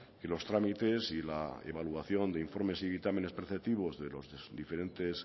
que los trámites y la evaluación de informes y dictámenes preceptivos de los diferentes